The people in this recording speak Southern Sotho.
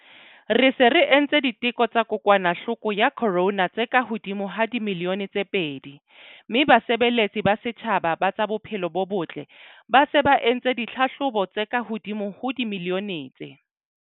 Re se re entse diteko tsa kokwanahloko ya corona tse kahodimo ho dimilione tse pedi mme basebeletsi ba setjhaba ba tsa bophelo bo botle ba se ba entse ditlhahlobo tse kahodimo ho dimilione tse.